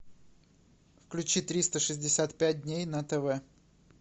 включи триста шестьдесят пять дней на тв